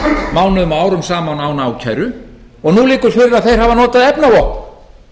mánuðum og árum saman án ákæru og nú liggur fyrir að þeir hafa notað efnavopn